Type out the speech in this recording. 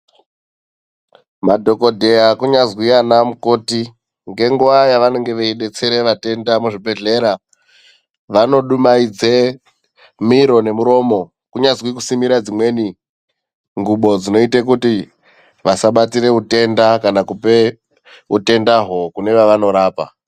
Madhokodheya kunyazwi ana mukoti nge nguva yavanenge veyidetsere vatenda mu zvibhedhlera vano dumaidze miro nemuromo kunyazi kusimira dzimweni ndxubo dzinoite kuti vasabatire utenda kana kupe utendahwo kune wavano rapa.